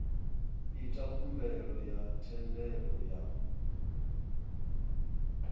ita khumbelo ya thendelo ya